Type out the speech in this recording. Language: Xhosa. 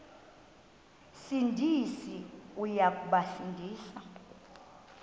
sindisi uya kubasindisa